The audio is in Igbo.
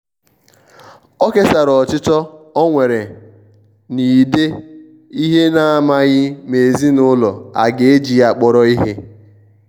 o kesara ọchịchọ ọ nwere na-ide ihen'amaghi ma ezinụlọ a ga-eji ya kpọrọ ihe.